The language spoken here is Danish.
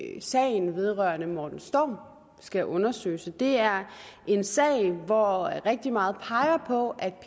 at sagen vedrørende morten storm skal undersøges det er en sag hvor rigtig meget peger på at